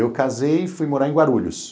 Eu casei e fui morar em Guarulhos.